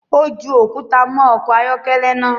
Ó ju òkúta mọ ọkọ̀ ayọ́kẹ́lẹ́ naa